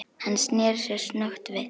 Hann sneri sér snöggt við.